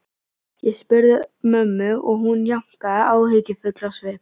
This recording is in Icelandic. Ég spurði mömmu og hún jánkaði, áhyggjufull á svip.